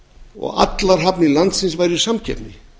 og að allir hafnir landsins væru í samkeppni